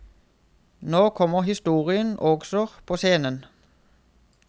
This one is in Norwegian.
Nå kommer historien også på scenen.